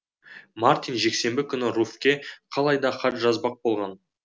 мартин жексенбі күні руфьке қалай да хат жазбақ болған